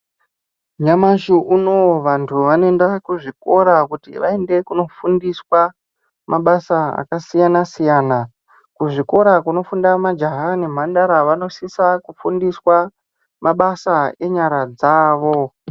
Nyamashi unou vantu vanoenda kuzvikora kuti vaende kunofundiswa mabasa akasiyana siyana kuzvikora kunoenda majaha nemhandara kunosisa kufundiswa mabasa enyara dzavo.